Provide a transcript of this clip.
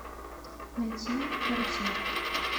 найти карусель